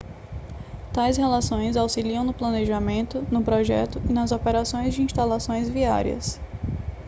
tais relações auxiliam no planejamento no projeto e nas operações de instalações viárias